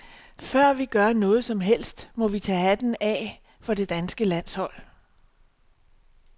Før vi gør noget som helst, må vi tage hatten af for det danske landshold.